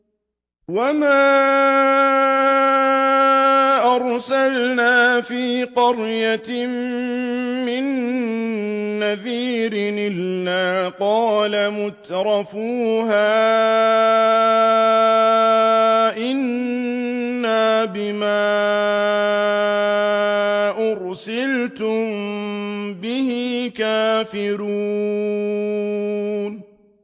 وَمَا أَرْسَلْنَا فِي قَرْيَةٍ مِّن نَّذِيرٍ إِلَّا قَالَ مُتْرَفُوهَا إِنَّا بِمَا أُرْسِلْتُم بِهِ كَافِرُونَ